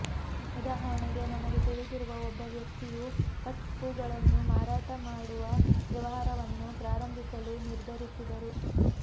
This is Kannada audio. ಉದಾಹರಣೆಗೆ ನನಗೆ ತಿಳಿದಿರುವ ಒಬ್ಬ ವ್ಯಕ್ತಿಯು ಕಟ್ ಹೂಗಳನ್ನು ಮಾರಾಟ ಮಾಡುವ ವ್ಯವಹಾರವನ್ನು ಪ್ರಾರಂಭಿಸಲು ನಿರ್ಧರಿಸಿದರು